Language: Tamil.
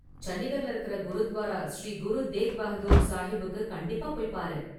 சண்டிகர்ல இருக்குற குருத்வாரா ஸ்ரீ குரு தேக் பகதூர் சாஹிப்புக்கு கண்டிப்பா போய் பாரு.